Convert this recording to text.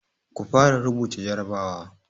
Ku fara rubuta jarabawa!